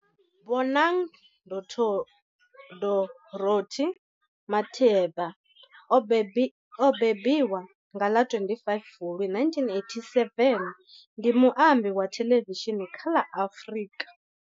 Bonang Dorothy Matheba o mbembiwa nga ḽa 25 Fulwi 1987, ndi muambi wa thelevishini kha la Afrika